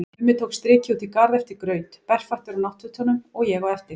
Mummi tók strikið út í garð eftir graut, berfættur á náttfötunum, og ég á eftir.